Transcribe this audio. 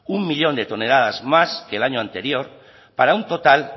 un millón de toneladas más que el año anterior para un total